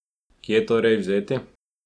Kje torej vzeti?